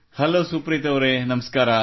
hello Supreeth ಅವರೆ ನಮಸ್ಕಾರ